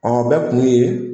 Ɔ o bɛɛ kun ye